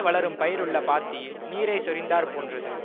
வளரும் பயிருள்ள பாத்தியில் நீரைச் சொரிந்தாற் போன்றது